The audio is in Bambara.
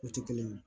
O tɛ kelen ye